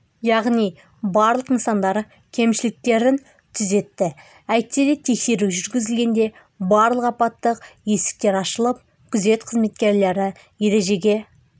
яғни барлық нысандар кемшіліктерін түзетті әйтсе де тексеру жүргізілгенде барлық апаттық есіктер ашылып күзет қызметкерлері ережеге